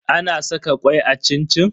Ana saka kwai a cin-cin?